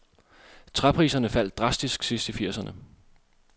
Træpriserne faldt drastisk sidst i firserne.